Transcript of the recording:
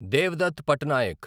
Devdutt Pattanaik